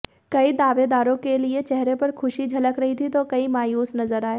कई दावेदारों के लिए चेहरे पर खुशी झलक रही तो कई मायूस नजर आए